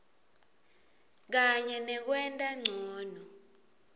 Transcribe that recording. kanye nekwenta ncono